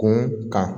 Kun kan